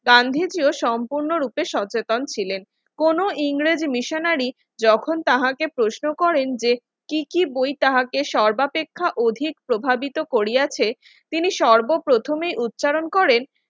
গান্ধীজি ও সম্পূর্ণরূপে সচেতন ছিলেন কোন ইংরেজি মিশনারি যখন তাহাকে প্রশ্ন করেন যে কি কি বই তাহাকে সর্বাপেক্ষা অধিক প্রভাবিত করিয়াছে তিনি সর্বপ্রথমে উচ্চারণ করেন